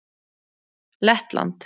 Lettland